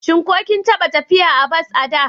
Shin ko kin taɓa tafiya a bas a da?